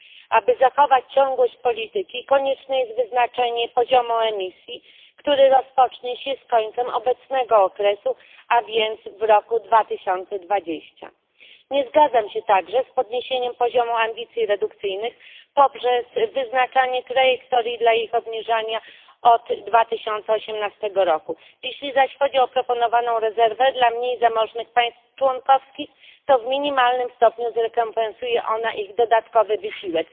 Aby zachować ciągłość polityki, konieczne jest wyznaczenie poziomu emisji, który rozpocznie się z końcem obecnego okresu, a więc w 2020 r. Nie zgadzam się także z podniesieniem poziomu ambicji redukcyjnych poprzez wyznaczanie trajektorii dla ich obniżania od 2018 r. Jeśli zaś chodzi o proponowaną rezerwę dla mniej zamożnych państw członkowskich, to w minimalnym stopniu zrekompensuje ona ich dodatkowy wysiłek.